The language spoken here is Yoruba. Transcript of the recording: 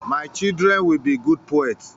My children will be good poets.